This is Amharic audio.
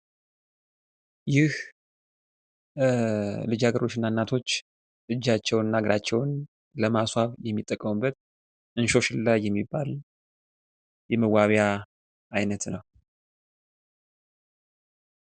ይህ ልጃገረዶች እና እናቶች እጃቸው እና እግራቸውን ለማስዋብ የሚጠቀሙበት እንሶስላ የሚባል የመዋቢያ አይነት ነው።